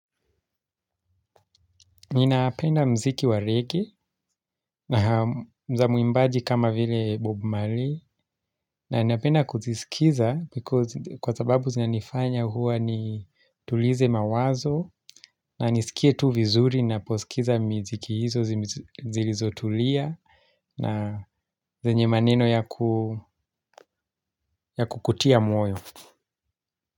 Ninapenda muziki wa reggae na za mwimbaji kama vile Bob Marley. Na napenda kuzisikiza because kwa sababu zinanifanya huwa nitulize mawazo. Na nisikie tu vizuri ninaposikiza miziki hizo zilizotulia. Na zenye maneno ya kukutia moyo.